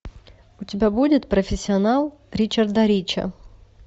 у тебя будет профессионал ричарда рича